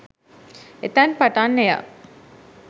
එතැන් පටන් එය